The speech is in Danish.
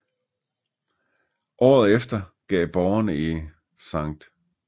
Året efter gav borgerne i St